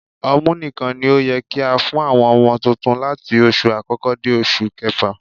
Ọmú nìkan ni ó yẹ kí á fún àwọn ọmọ tuntun láti oṣù àkọ́kọ́ dé oṣù kẹfà